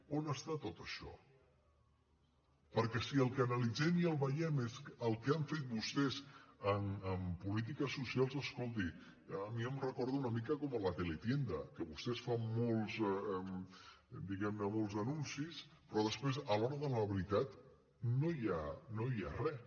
on està tot això perquè si el que analitzem i veiem és el que han fet vostès en polítiques socials escolti a mi em recorda una mica la teletienda que vostès fan molts anuncis però després a l’hora de la veritat no hi ha res